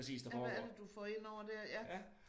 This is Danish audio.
Ja men hvad er det du får indover dér ja